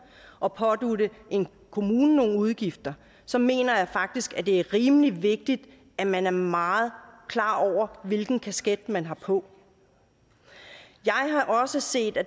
og pådutte en kommune nogle udgifter så mener jeg faktisk at det er rimelig vigtigt at man er meget klar over hvilken kasket man har på jeg har også set at